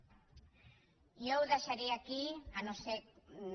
jo ho deixaria aquí si no és